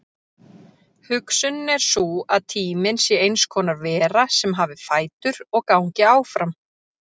Hugsunin er sú að tíminn sé eins konar vera sem hafi fætur og gangi áfram.